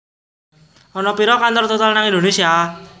Ana piro kantor Total nang Indonesia?